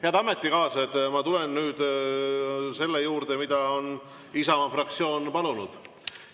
Head ametikaaslased, ma tulen nüüd selle juurde, mida on Isamaa fraktsioon palunud.